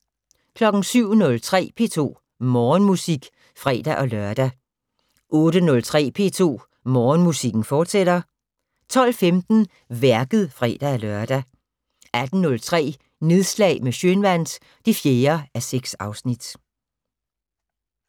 07:03: P2 Morgenmusik (fre-lør) 08:03: P2 Morgenmusik, fortsat 12:15: Værket (fre-lør) 18:03: Nedslag med Schønwandt (4:6)